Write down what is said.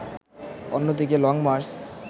অন্যদিকে লংমার্চ